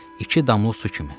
İki damla su kimi.